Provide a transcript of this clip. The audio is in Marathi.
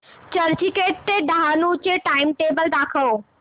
चर्चगेट ते डहाणू चे टाइमटेबल दाखव